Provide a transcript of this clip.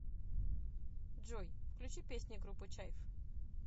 джой включи песни группы чайф